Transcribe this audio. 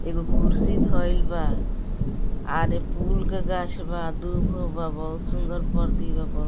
एगो कुर्सी धइल बा आर पूल के गाछ बा दुभो बा बहुत सुन्दर पर्ती बा बहु --